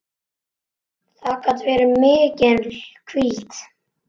Það gat verið mikil hvíld.